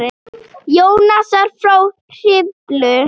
Jónasar frá Hriflu.